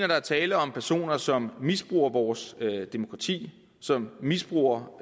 der er tale om personer som misbruger vores demokrati som misbruger